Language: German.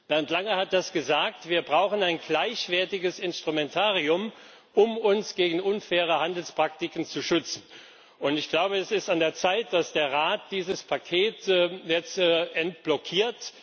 Bernd Lange hat es gesagt Wir brauchen ein gleichwertiges Instrumentarium, um uns gegen unfaire Handelspraktiken zu schützen. Es ist an der Zeit, dass der Rat dieses Paket jetzt deblockiert.